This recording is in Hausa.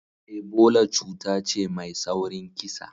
Ebola cuta ce mai saurin kisa.